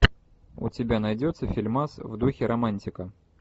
у тебя найдется фильмас в духе романтика